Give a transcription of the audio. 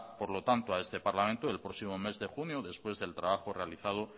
por lo tanto a este parlamento el próximo mes de junio después del trabajo realizado